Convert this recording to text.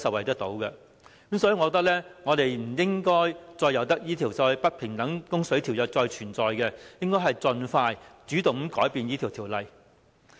所以，我認為我們不應該任由這項"不平等供水條約"繼續存在，應該盡快主動地更改有關協議。